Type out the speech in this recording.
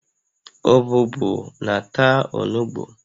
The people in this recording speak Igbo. Ọbụbụụ na-ata onugbu